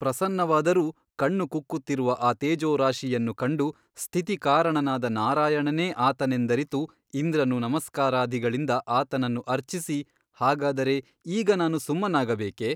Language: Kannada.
ಪ್ರಸನ್ನವಾದರೂ ಕಣ್ಣು ಕುಕ್ಕುತ್ತಿರುವ ಆ ತೇಜೋರಾಶಿಯನ್ನು ಕಂಡು ಸ್ಥಿತಿಕಾರಣನಾದ ನಾರಾಯಣನೇ ಆತನೆಂದರಿತು ಇಂದ್ರನು ನಮಸ್ಕಾರಾದಿಗಳಿಂದ ಆತನನ್ನು ಅರ್ಚಿಸಿ ಹಾಗಾದರೆ ಈಗ ನಾನು ಸುಮ್ಮನಾಗಬೇಕೆ ?